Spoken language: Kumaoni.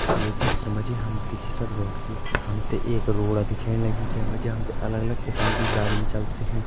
ये चित्र मजी हम देखी सक्दों हो कि हमते एक रोड़ा दिखेण लगी जे मजी हमते अलग अलग किस्म की गाड़िन चलती दिखेण।